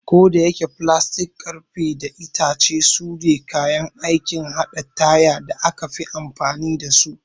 Kodayake, filastik, ƙarfe, da itace sune kayan aikin haɗa tire da aka fi amfani da su.